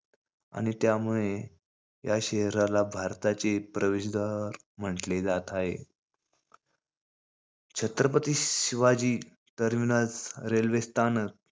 आणि त्यामुळे या शहराला भारताचे प्रवेशद्वार म्हंटले जात आहे. छत्रपती शिवाजी टर्मिनस, रेल्वे स्थानक,